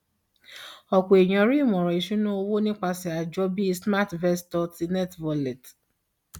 ọpọ ènìyàn rí ìmọràn ìṣúnná owó nípasẹ àjọ bí smartvestor ti nerdwallet